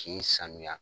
K'i sanuya